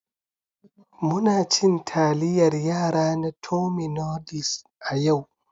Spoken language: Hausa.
Muna cin taliyar yara na tummy noodles a yau.